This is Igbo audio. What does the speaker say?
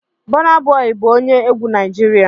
Burna Boy bụ onye egwu Naịjirịa